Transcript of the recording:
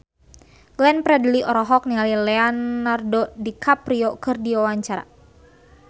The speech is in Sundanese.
Glenn Fredly olohok ningali Leonardo DiCaprio keur diwawancara